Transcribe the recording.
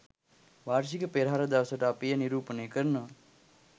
වාර්ෂික පෙරහර දවසට අපි එය නිරූපණය කරනවා